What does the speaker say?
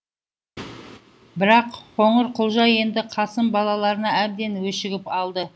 бірақ қоңырқұлжа енді қасым балаларына әбден өшігіп алды